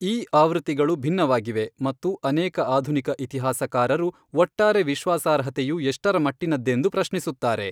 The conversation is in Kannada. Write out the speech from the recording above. ಈ ಆವೃತ್ತಿಗಳು ಭಿನ್ನವಾಗಿವೆ ಮತ್ತು ಅನೇಕ ಆಧುನಿಕ ಇತಿಹಾಸಕಾರರು ಒಟ್ಟಾರೆ ವಿಶ್ವಾಸಾರ್ಹತೆಯು ಎಷ್ಟರಮಟ್ಟಿನದ್ದೆಂದು ಪ್ರಶ್ನಿಸುತ್ತಾರೆ.